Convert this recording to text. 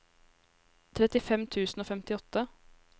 trettifem tusen og femtiåtte